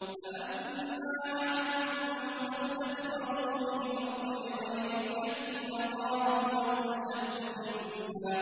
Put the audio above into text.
فَأَمَّا عَادٌ فَاسْتَكْبَرُوا فِي الْأَرْضِ بِغَيْرِ الْحَقِّ وَقَالُوا مَنْ أَشَدُّ مِنَّا